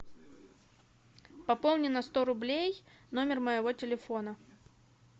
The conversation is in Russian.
пополни на сто рублей номер моего телефона